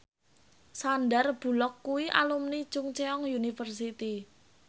Sandar Bullock kuwi alumni Chungceong University